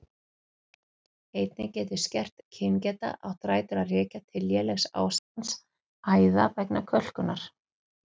Einnig getur skert kyngeta átt rætur að rekja til lélegs ástands æða vegna kölkunar.